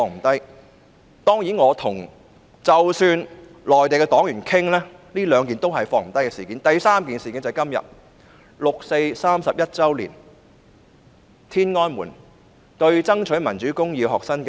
第三件事件便是六四事件，今天是六四事件31周年，當年今日在天安門爭取民主公義的學生遭到鎮壓。